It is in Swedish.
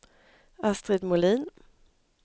Astrid Molin